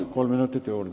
Palun, kolm minutit juurde!